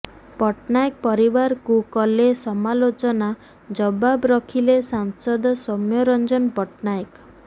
ପଟ୍ଟନାୟକ ପରିବାରକୁ କଲେ ସମାଲୋଚନା ଜବାବ ରଖିଲେ ସାଂସଦ ସୌମ୍ୟରଞ୍ଜନ ପଟ୍ଟନାୟକ